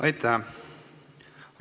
Aitäh!